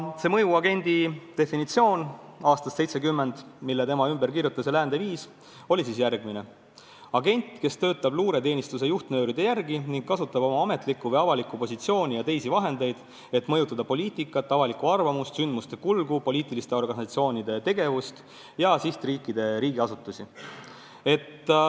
Too mõjuagendi definitsioon aastast 1970, mille tema ümber kirjutas ja läände viis, oli järgmine: "Agent, kes töötab luureteenistuse juhtnööride järgi ning kasutab oma ametlikku või avalikku positsiooni ja teisi vahendeid, et mõjutada poliitikat, avalikku arvamust, sündmuste kulgu, poliitiliste organisatsioonide tegevust ja sihtriikide riigiasutusi.